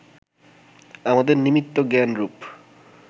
আমাদের নিমিত্ত জ্ঞানরূপ